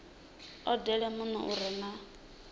odele muno u re na